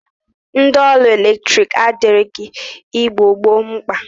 Ndi ọrụ eletrik adirighi Igbo gboo mkpa.